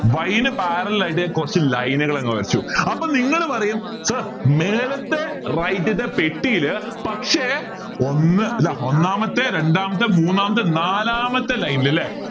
Y ന് parallel ആയിട്ട് ഞാൻ കുറച്ച് line കൾ അങ്ങ് വരച്ചു അപ്പോ നിങ്ങൾ പറയും sir മേലത്തെ right റ്റ്ത്തെ പെട്ടിൽ പക്ഷേ ഒന്ന് ഇതാ ഒന്നാമത്തെ രണ്ടാമത്തെ മൂന്നാമത്തെ നാലാമത്തെ line ൽ അല്ലേ